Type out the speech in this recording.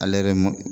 Ale yɛrɛ mɔ